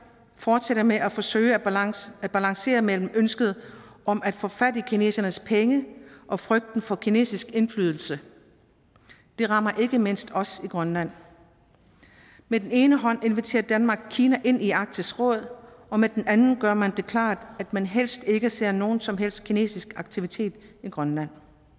fortsætter med at forsøge at balancere at balancere mellem ønsket om at få fat i kinesernes penge og frygten for kinesisk indflydelse det rammer ikke mindst os i grønland med den ene hånd inviterer danmark kina ind i arktisk råd og med den anden gør man det klart at man helst ikke ser nogen som helst kinesisk aktivitet i grønland